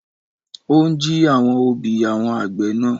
Ó ń jí àwọn òbí àwọn àgbẹ̀ náà.